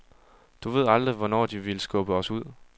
Du ved aldrig, hvornår de vil skubbe os ud.